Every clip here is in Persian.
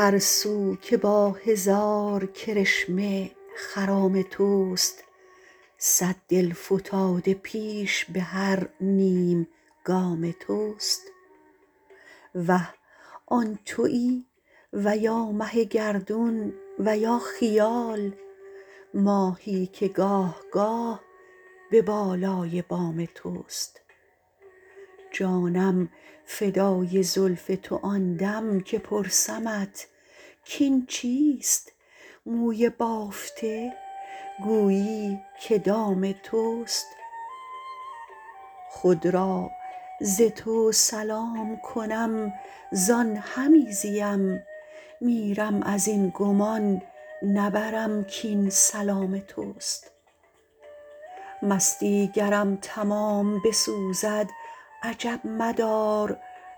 هر سو که با هزار کرشمه خرام تست صد دل فتاده پیش به هر نیم گام تست وه آن تویی و یا مه گردون و یا خیال ماهی که گاه گاه به بالای بام تست جانم فدای زلف تو آندم که پرسمت کاین چیست موی بافته گویی که دام تست خود را ز تو سلام کنم زان همی زیم میرم ازین گمان نبرم کاین سلام تست مستی گرم تمام بسوزد عجب مدار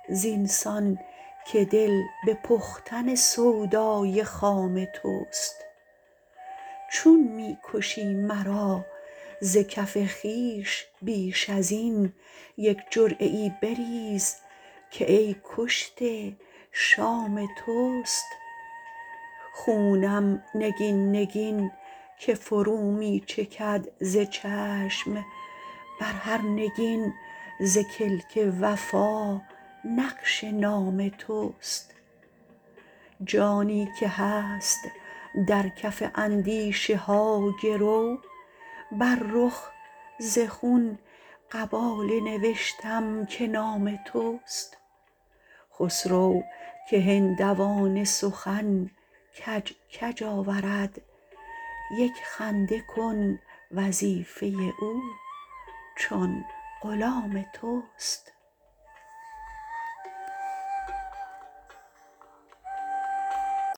زینسان که دل به پختن سودای خام تست چون می کشی مرا ز کف خویش بیش ازین یک جرعه ای بریز که ای کشته شام تست خونم نگین نگین که فرو می چکد ز چشم بر هر نگین ز کلک وفا نقش نام تست جانی که هست در کف اندیشه ها گرو بر رخ ز خون قباله نوشتم که نام تست خسرو که هندوانه سخن کج کج آورد یک خنده کن وظیفه او چون غلام تست